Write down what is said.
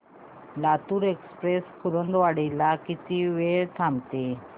Latur express Kurduwadi ला किती वेळ थांबते